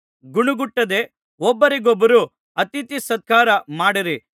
ಗುಣಗುಟ್ಟದೆ ಒಬ್ಬರಿಗೊಬ್ಬರು ಅತಿಥಿ ಸತ್ಕಾರ ಮಾಡಿರಿ